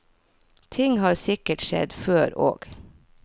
Ting har sikkert skjedd før også.